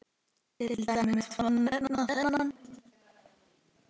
Til dæmis má nefna þennan